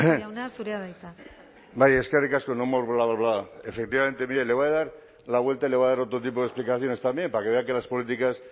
jauna zurea da hitza bai eskerrik asko no more bla bla bla efectivamente mire le voy a dar la vuelta y le voy a dar otro tipo de explicaciones también para que vea que las políticas